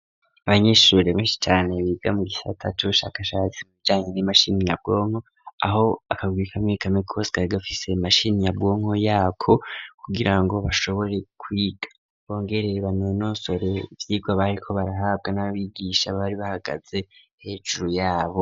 Abanyeshuri benshi cane biga mu gisata c’ ubushakashatsi mu bijanye ni mashini nyabwonko ,aho akagwi kamwe kamwe kose kari gafise mashini nyabwonko yako kugira ngo bashobore kwiga bongere banonosore ivyigwa bariko barahabwa n'abigisha bari bahagaze hejuru yabo.